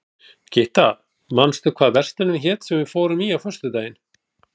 Gytta, manstu hvað verslunin hét sem við fórum í á föstudaginn?